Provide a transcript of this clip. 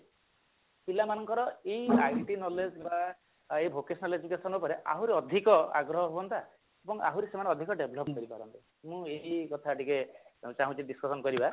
ପିଲାମାନଙ୍କର ଏଇ IT knowledge ର ଏଇ vocational education ଉପରେ ଆହୁରି ଅଧିକ ଆଗ୍ରହ ହୁଅନ୍ତା ଏବଂ ଆହୁରି ସେମାନେ devolve କରିପାରନ୍ତେ ମୁଁ ଏଇ କଥା ଟିକେ ଚାହୁଁଛି discussion କରିବା